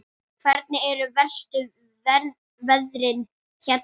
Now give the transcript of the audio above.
Hvernig eru verstu veðrin hérna?